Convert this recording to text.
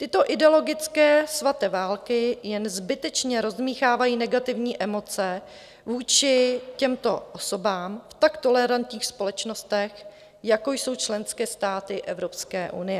Tyto ideologické svaté války jen zbytečně rozdmýchávají negativní emoce vůči těmto osobám v tak tolerantních společnostech, jako jsou členské státy Evropské unie.